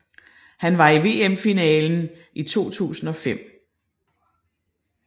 Han var i VM finalen i 2005